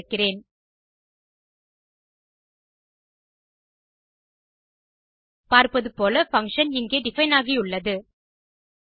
அதை திறக்கிறேன் பார்ப்பது போல பங்ஷன் இங்கே டிஃபைன் ஆகியுள்ளது